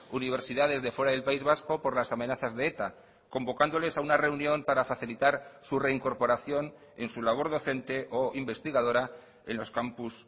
universidades de fuera del país vasco por las amenazas de eta convocándoles a una reunión para facilitar su reincorporación en su labor docente o investigadora en los campus